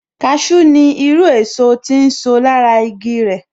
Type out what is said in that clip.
Owo Owo ni irú èso tí ń so lára lára igi rẹ̀